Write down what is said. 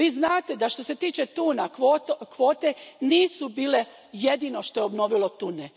Vi znate da što se tiče tuna, kvote nisu bile jedino što je obnovilo tune.